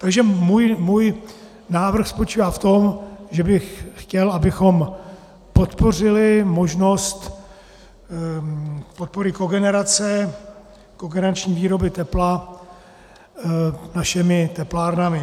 Takže můj návrh spočívá v tom, že bych chtěl, abychom podpořili možnost podpory kogenerace, kogenerační výroby tepla našimi teplárnami.